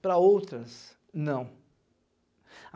Para outras, não.